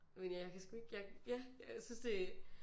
Men ja jeg kan sgu ikke jeg ja jeg synes det